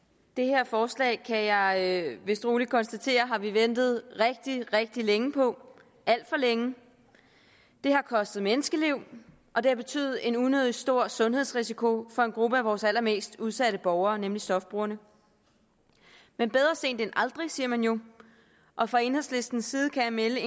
det her forslag kan jeg vist roligt konstatere har vi ventet rigtig rigtig længe på alt for længe det har kostet menneskeliv og det har betydet en unødig stor sundhedsrisiko for en gruppe af vores allermest udsatte borgere nemlig stofbrugerne men bedre sent end aldrig siger man jo og fra enhedslistens side kan jeg melde